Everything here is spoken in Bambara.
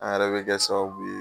An yɛrɛ bɛ kɛ sababu ye